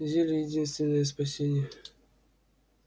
зелье единственное спасение